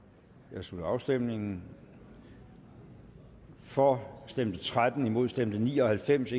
jeg slutter afstemningen for stemte tretten imod stemte ni og halvfems